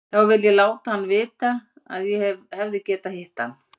Þá vil ég láta hann vita að ég hefði getað hitt hann.